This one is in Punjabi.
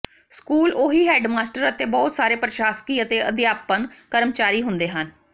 ਸਕੂਲ ਉਹੀ ਹੈਡਮਾਸਟਰ ਅਤੇ ਬਹੁਤ ਸਾਰੇ ਪ੍ਰਸ਼ਾਸਕੀ ਅਤੇ ਅਧਿਆਪਨ ਕਰਮਚਾਰੀ ਹੁੰਦੇ ਹਨ